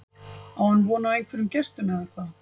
Á hann von á einhverjum gestum eða hvað?